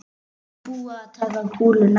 Er búið að taka kúluna?